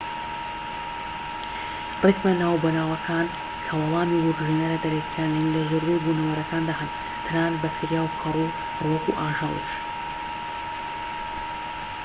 ریتمە ناوبەناوەکان کە وەڵامی وروژێنەرە دەرەکیەکان نین لە زۆربەی بونەوەرەکاندا هەن تەنانەت بەکتریا و کەڕوو و ڕووەك و ئاژەڵیش